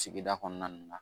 Sigida kɔnɔna na